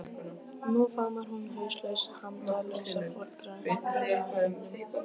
Nú faðmar hún hauslaus handalausa foreldra þína á himnum.